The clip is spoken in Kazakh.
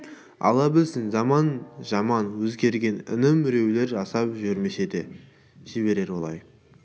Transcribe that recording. алла білсін заман жаман өзгерген інім біреулер жасап жүрмесе де жіберер олай